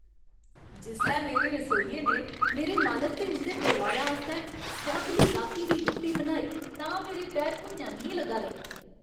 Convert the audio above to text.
जिसलै मेरे रसोइये ने मेरे मालक ते उं'दे परोआरै आस्तै सोआदली राती दी रुट्टी बनाई तां मेरे पैर भुञां निं लग्गा दे हे।